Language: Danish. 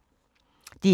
DR1